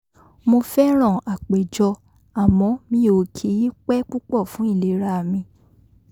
mo fẹ́ràn àpéjọ àmọ́ mi ò kì í pẹ́ púpọ̀ fún ìlera mi